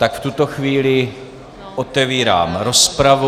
Tak v tuto chvíli otevírám rozpravu.